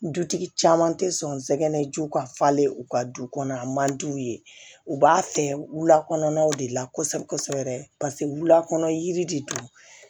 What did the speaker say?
Dutigi caman tɛ sɔngɛnɛ jiw ka falen u ka du kɔnɔ a man di u ye u b'a fɛ wulakanaw de la kosɛbɛ kosɛbɛ paseke wula de don